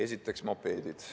Esiteks, mopeedid.